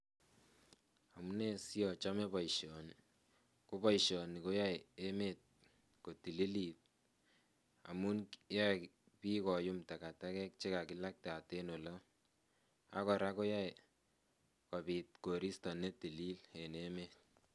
Amune siachome boishoni ko boishoni koyoei emet kotililit amun yoei biik koyum takatakek chekakilaktat en olo akora koyoei kobit koristo netilil en emet